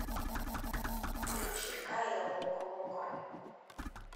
включи кая локо локо